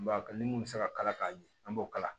N b'a kɛ ni mun bɛ se ka kala ka ɲɛ an b'o kala